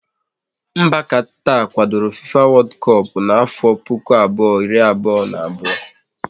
Mba Katar kwadoro FIFA wodu kop na-afo puku abụọ, iri abụọ na abụọ